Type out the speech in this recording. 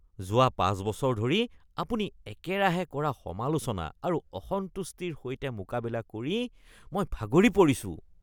যোৱা ৫ বছৰ ধৰি আপুনি একেৰাহে কৰা সমালোচনা আৰু অসন্তুষ্টিৰ সৈতে মোকাবিলা কৰি মই ভাগৰি পৰিছোঁ।